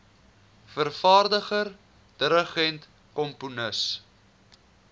vervaardiger dirigent komponis